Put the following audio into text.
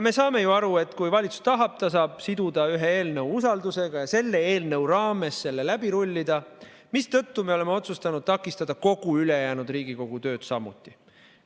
Me saame ju aru, et kui valitsus tahab, ta saab siduda ühe eelnõu usaldusega ja selle eelnõu raames selle läbi rullida, mistõttu me oleme otsustanud takistada kogu ülejäänud Riigikogu tööd samuti.